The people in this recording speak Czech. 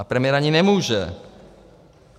A premiér ani nemůže.